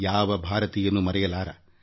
ಯಾವುದೇ ಭಾರತೀಯ ಇದನ್ನು ಮರೆಯಲಾರ